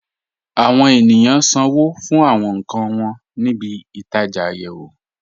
Àwọn ènìyàn ṣánwó̩ fún àwọn nkàn wọn ní ìbí-itaja ayéwò.